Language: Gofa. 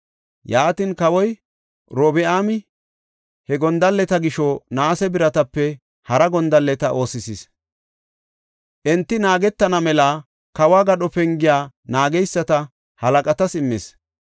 Yaatin, kawoy Robi7aami he gondalleta gisho naase biratape hara gondalleta oosisis. Enti naagetana mela kawo gadho pengiya naageysata halaqatas immis.